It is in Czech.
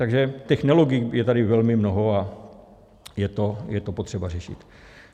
Takže těch nelogik je tady velmi mnoho a je to potřeba řešit.